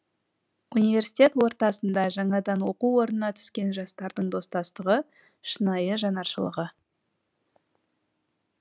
университет ортасында жаңадан оқу орнына түскен жастардың достастығы шынайы жанаршылығы